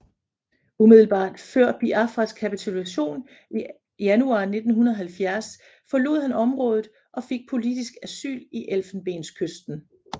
Umiddelbart før Biafras kapitulation i januar 1970 forlod han området og fik politisk asyl i Elfenbenskysten